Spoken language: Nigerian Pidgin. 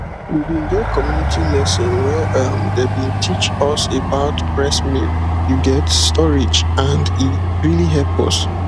we bin get community lesson where um dem bin teach us about breast milk you get storage and e really hep us